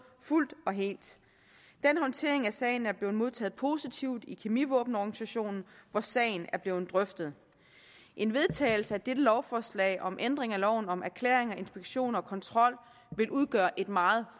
fuldt og helt den håndtering af sagen er blevet modtaget positivt i kemivåbenorganisationen hvor sagen er blevet drøftet en vedtagelse af dette lovforslag om ændring af loven om erklæring inspektioner og kontrol vil udgøre et meget